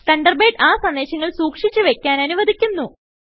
Thunderbird ആ സന്ദേശങ്ങൾ സുക്ഷിച്ചു വയ്ക്കാൻ അനുവദിക്കുന്നു